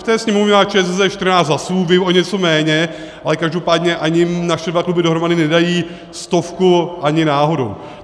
V té Sněmovně má ČSSD 14 hlasů, vy o něco méně, ale každopádně ani naše dva kluby dohromady nedají stovku ani náhodou.